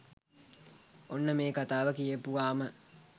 ඔන්න මේ කතාව කියපුවාම